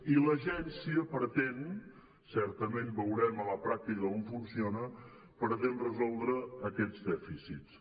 i l’agència pretén certament veurem a la pràctica com funciona resoldre aquests dèficits